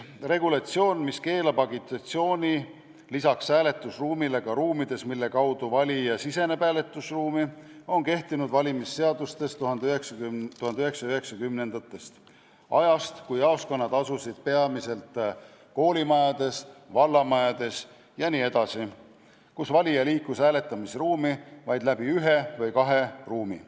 Regulatsioon, mis keelab agitatsiooni lisaks hääletusruumile ka nendes ruumides, mille kaudu valija siseneb hääletusruumi, on kehtinud valimisseadustes 1990-ndatest alates – ajast, kui jaoskonnad asusid peamiselt koolimajades, vallamajades jne, kus valija liikus hääletusruumi vaid läbi ühe või kahe ruumi.